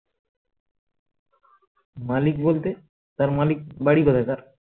মালিক বলতে তার মালিক বাড়ি কোথায় তার